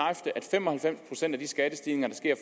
fem og halvfems procent af de skattestigninger det sker